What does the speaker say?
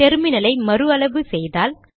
டெர்மினலை மறு அளவு செய்தால்